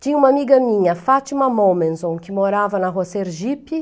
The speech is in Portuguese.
Tinha uma amiga minha, Fátima Momenson, que morava na rua Sergipe.